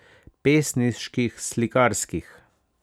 Pesniških, slikarskih.